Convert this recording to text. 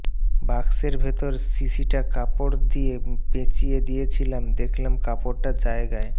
বাক্সের ভেতর শিশিটা কাপড় দিয়ে পেঁচিয়ে দিয়েছিলাম দেখলাম কাপড়টা জায়গায়